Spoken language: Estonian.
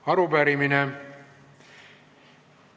Arupärimine.